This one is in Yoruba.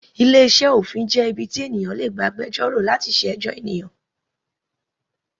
Ilé iṣẹ́ òfin jẹ́ ibi tí ènìyàn ti lè gba agbẹjọ́rò láti ṣe ẹjọ́ ènìyàn.